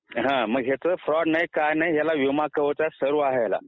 ह्याच फ्रॉड नाही काही नाही ह्याला विमा कवच आहे सर्व आहे ह्याला